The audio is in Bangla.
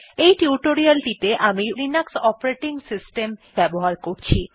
এই টিউটোরিয়ালটিতে আমি লিনাক্স অপারেটিং সিস্টেম ব্যবহার করছি